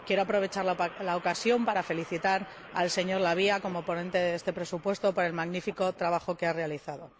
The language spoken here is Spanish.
Quiero aprovechar la ocasión para felicitar al señor La Via como ponente de este presupuesto por el magnífico trabajo que ha realizado.